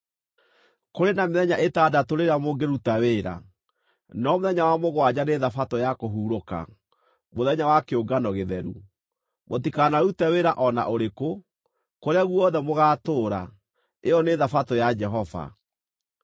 “ ‘Kũrĩ na mĩthenya ĩtandatũ rĩrĩa mũngĩruta wĩra, no mũthenya wa mũgwanja nĩ Thabatũ ya kũhurũka, mũthenya wa kĩũngano gĩtheru. Mũtikanarute wĩra o na ũrĩkũ; kũrĩa guothe mũgaatũũra, ĩyo nĩ Thabatũ ya Jehova.